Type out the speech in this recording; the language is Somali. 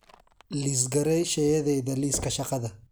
liis garee shayadayda liiska shaqada